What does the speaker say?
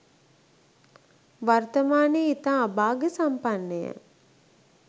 වර්තමානයේ ඉතා අභාග්‍ය සම්පන්න ය.